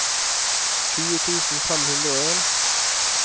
tjue tusen fem hundre og en